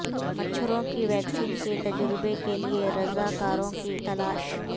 مچھروں کی ویکسین کےتجربے کے لئے رضا کاروں کی تلاش